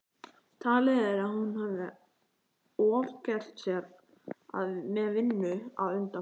Talið að hún hafi ofgert sér með vinnu að undanförnu.